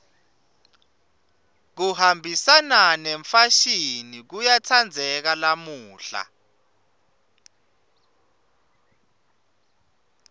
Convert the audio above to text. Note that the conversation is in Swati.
kuhambisana nemfashini kuyatsandzeka lamuhla